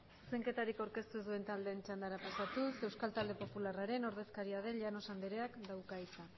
zuzenketarik aurkeztu ez dituzten taldeen txandara pasatuz euskal talde popularraren ordezkaria den llanos andereak dauka hitza